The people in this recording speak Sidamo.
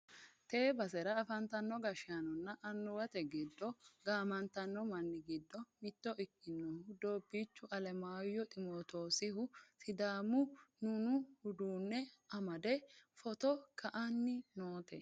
tee basera afantino gashshaanonna annuwate giddo gaamantanno manni giddo mitto ikkinohu doobbichu alemayyo ximootosihu sidaamu nunu uddano amade footo ka'anni noote.